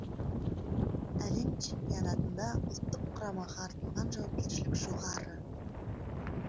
әлем чемпионатында ұлттық құрамаға артылған жауапкершілік жоғары